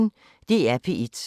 DR P1